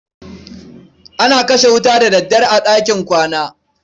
ana kashe wuta da daddare a ɗakin kwana.